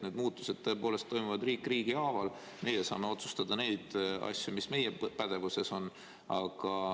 Need muudatused tõepoolest toimuvad riik riigi haaval, meie saame otsustada neid asju, mis meie pädevuses on.